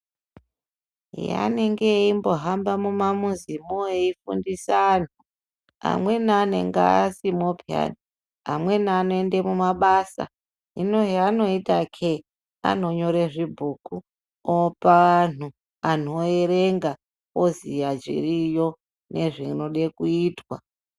Eya anenge eimbohamba mumamuzimwo eifundisa antu amweni anenge asimwo peyani amweni anoenda kumabasa hino zvaanoitakee ,anonyore zvibhuku opa antu, antu oerenga oziya zviriyo nezvinode kuitwa .